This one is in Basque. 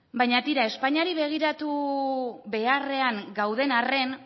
baina tira espainiari begiratu beharrean gauden arren